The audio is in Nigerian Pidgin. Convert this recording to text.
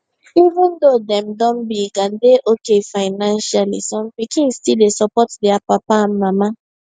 even though dem don big and dey okay financially some pikin still dey support their papa and mama